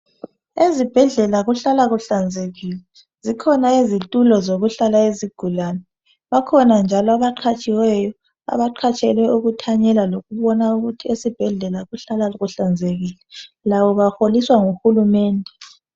Ezibhedlela kuhlala kuhlanzekile. Zikhona izitulo zokuhlala izigulane. Bakhona njalo abaqhatshiweyo, beqhatshelwe ukuthanyela lokubona ukuthi esibhedlela kuhlala kuhlanzekile, labo baholiswa nguHulumende.